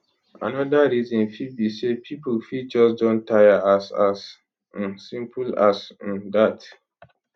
anoda reason fit be say pipo fit just don taya as as um simple as um dat